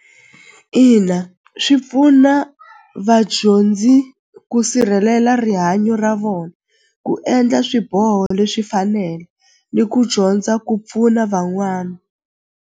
Ina swi pfuna vadyondzi ku sirhelela rihanyo ra vona ku endla swiboho leswi fanela ni ku dyondza ku pfuna van'wana.